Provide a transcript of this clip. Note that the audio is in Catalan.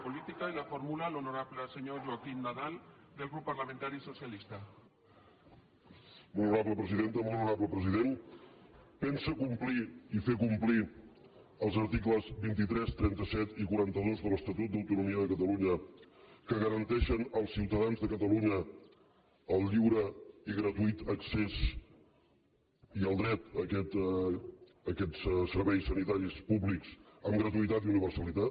molt honorable president pensa complir i fer complir els articles vint tres trenta set i quaranta dos de l’estatut d’autonomia de catalunya que garanteixen als ciutadans de catalunya el lliure i gratuït accés i el dret a aquests serveis sanitaris públics amb gratuïtat i universalitat